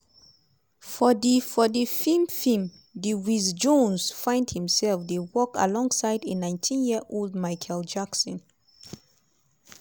for di for di feem film di wiz jones find imself dey work alongside a 19-year-old michael jackson.